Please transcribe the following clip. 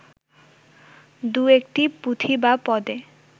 দু-একটি পুঁথি বা পদে